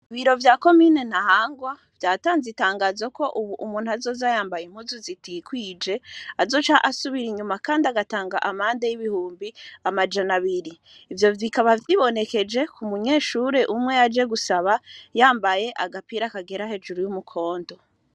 Ibiro vya ko mine na hangwa vyatanze itangazo ko, ubu umuntu azozayambaye impuzu zitikwije azoca asubira inyuma, kandi agatanga amande y'ibihumbi amajana abiri ivyo vikaba vyibonekeje ku munyeshure umwe yaje gusaba yambaye agapira akagera hejuru y'umukonto.